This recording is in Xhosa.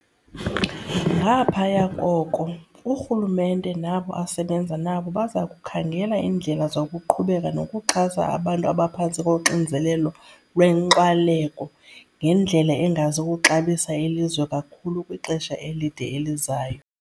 Ngaphaya koko, urhulumente nabo asebenza nabo baza kukhangela iindlela zokuqhubeka nokuxhasa abantu abaphantsi koxinzelelo lwenkxwaleko ngendlela engazi kuxabisa ilizwe kakhulu kwixesha elide elizayo.